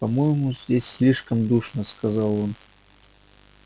по-моему здесь слишком душно сказал он